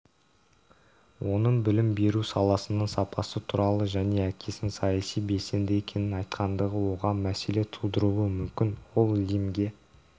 оның білім беру саласының сапасы туралы және әкесінің саяси белсенді екенін айтқандығы оған мәселе тудыруы мүмкін ол лимнге